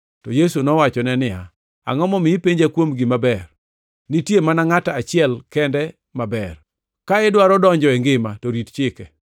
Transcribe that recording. To Yesu nowacho niya, “Angʼo momiyo ipenja kuom gima ber? Nitie mana Ngʼat achiel kende maber. Ka idwaro donjo e ngima to rit chike.”